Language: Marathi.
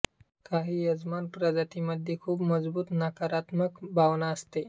काही यजमान प्रजातींमध्ये खूप मजबूत नकारात्मक भावना असते